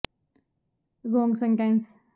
ਇਸ ਲੱਕੜ ਦੇ ਬਾਲਣ ਦੇ ਕਾਰਨ ਜਿਆਦਾ ਤੌੜੀ ਅਤੇ ਸਮਾਨ ਤੌਰ ਤੇ ਸਾੜ ਪੈਂਦੀ ਹੈ